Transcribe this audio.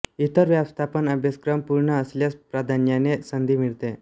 इतर व्यवस्थापन अभ्यासक्रम पूर्ण असल्यास प्राधान्याने संधी मिळते